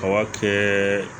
A b'a kɛ